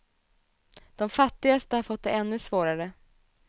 De fattigaste har fått det ännu svårare.